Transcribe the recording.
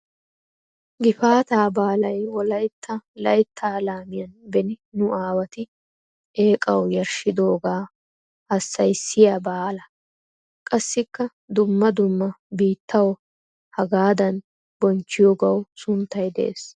Gifaataa baalay wolaytta layitta laamiyan beni nu aawati eeqawu yarshshidoogaa hassayissiya baala. Qassikka dumma dumma biittawu hagaadan bonchchiyoogawu sunttay de'ees.